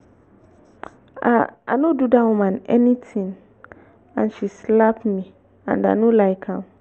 i no i no do dat woman anything and she slap me and i no like am